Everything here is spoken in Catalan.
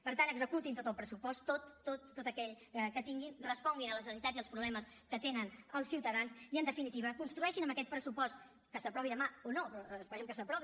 per tant executin tot el pressupost tot tot tot aquell que tinguin responguin a les necessitats i als problemes que tenen els ciutadans i en definitiva construeixin amb aquest pressupost que s’aprovi demà o no però esperem que s’aprovi